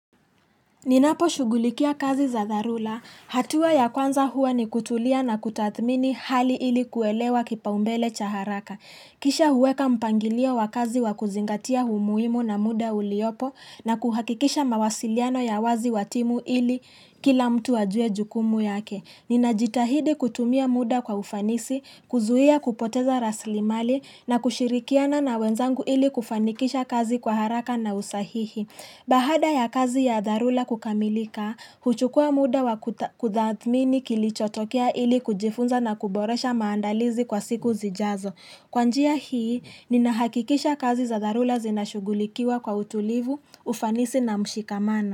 Ninapo shughulikia kazi za dharula. Hatua ya kwanza hua ni kutulia na kutathmini hali ili kuelewa kipaumbele cha haraka. Kisha huweka mpangilia wa kazi wa kuzingatia umuhimu na muda uliopo na kuhakikisha mawasiliano ya wazi watimu ili kila mtu ajue jukumu yake. Nina jitahidi kutumia muda kwa ufanisi, kuzuia kupoteza raslimali na kushirikiana na wenzangu ili kufanikisha kazi kwa haraka na usahihi. Baada ya kazi ya dharula kukamilika, huchukua muda wa kutathmini kilichotokea ili kujifunza na kuboresha maandalizi kwa siku zijazo. Kwa njia hii, ninahakikisha kazi za dharula zinashugulikiwa kwa utulivu, ufanisi na mshikamana.